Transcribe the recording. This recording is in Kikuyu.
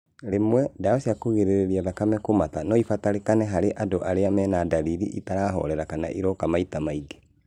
Rĩmwe, ndawa cĩa kũrigĩrĩria thakame kũmata noibatarĩkane harĩ andũ arĩa mena ndariri itarahorera kana iroka maita maingĩ